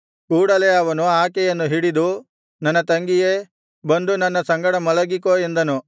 ಕೂಡಲೆ ಅವನು ಆಕೆಯನ್ನು ಹಿಡಿದು ನನ್ನ ತಂಗಿಯೇ ಬಂದು ನನ್ನ ಸಂಗಡ ಮಲಗಿಕೋ ಎಂದನು